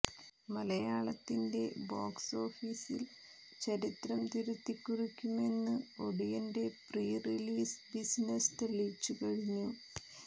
മലയാളത്തിന്റെ ബോക്സ് ഓഫീസിൽ ചരിത്രം തിരുത്തി കുറിക്കുമെന്നു ഒടിയന്റെ പ്രീ റിലീസ് ബിസിനസ്സ് തെളിയിച്ചു കഴിഞ്ഞു